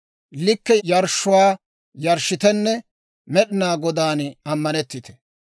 Likke yarshshuwaa yarshshitenne Med'inaa Godaan ammanettite.